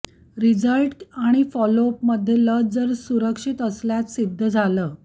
result आणि फॉलोअपमध्ये लस जर सुरक्षित असल्यातं सिद्ध झालं